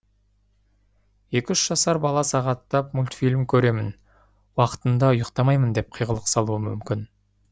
екі үш жасар бала сағаттап мультфильм көремін уақытында ұйықтамаймын деп қиғылық салуы мүмкін